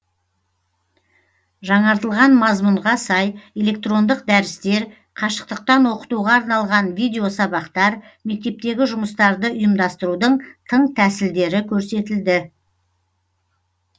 жаңартылған мазмұнға сай электрондық дәрістер қашықтықтан оқытуға арналған видеосабақтар мектептегі жұмыстарды ұйымдастырудың тың тәсілдері көрсетілді